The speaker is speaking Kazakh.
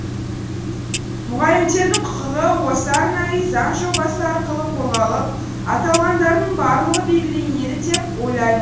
мұғалімдердің құқығы осы арнайы заң жобасы арқылы қорғалып аталғандардың барлығы белгіленеді деп ойлайм